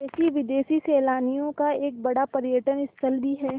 देशी विदेशी सैलानियों का एक बड़ा पर्यटन स्थल भी है